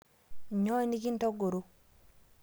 Nyoo nikintogoro?